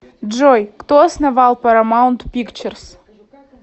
джой кто основал парамаунт пикчерз